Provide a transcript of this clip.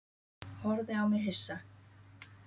Horfði á mig hissa.